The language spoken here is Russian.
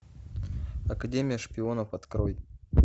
академия шпионов открой